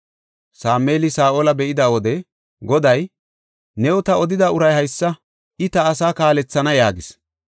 Sameeli Saa7ola be7ida wode Goday, “Taani new odida uray haysa; I ta asaa kaalethana” yaagis.